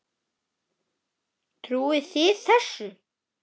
Trúið þið þessu?